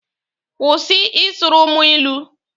Kwụsị ị sụrụ mụ ilu!